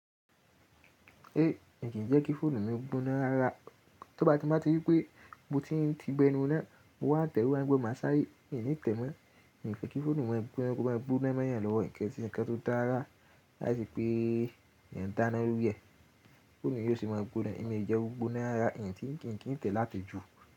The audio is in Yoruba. E, èyí kì í jẹ́ kí fóònù mi gbóná ara. To bá jẹ́ pé mo bá ti rí wípé, mo ti ń tí bọ ẹnu na, mo wá tẹ, mo wá ń gbọ́ má sáré, mi ni tẹ mọ. Kì í jẹ́ kí fóònù wọn gbóná, kó máa gbóná mọ́yàn lọ́wọ́, nìkan tí ǹkan tó dára láìsí pé èyàn ń dáná lórí ẹ, fóònù yìí ó sì máa gbóná. Èmi jẹ gbóná rara, èyí ni kí n tẹ̀ láti jù.